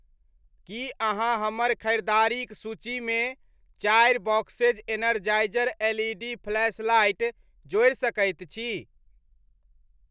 की अहाँ हमर ख़रीदारिक सूचीमे चारि बॉक्सेज़ एनरजाईज़र एलइडी फ्लैशलाइट जोड़ि सकैत छी।